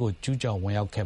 ကို ကျူးကျော်ဝင်ရောက်ခဲ့